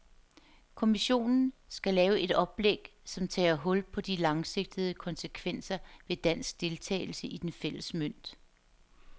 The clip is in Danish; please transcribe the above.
Kommissionen skal lave et oplæg, som tager hul på de langsigtede konsekvenser ved dansk deltagelse i den fælles mønt.